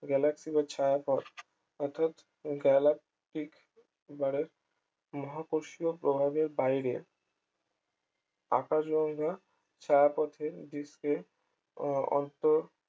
galaxy ও ছায়াপথ অর্থাৎ galaxy বাড়ে মহাকর্ষীয় প্রভাবের বাইরে আকাশ গঙ্গা ছায়াপথের দৃশ্যে আহ অন্তর